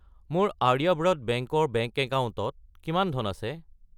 মোৰ আৰ্যব্ৰত বেংক ৰ বেংক একাউণ্টত কিমান ধন আছে?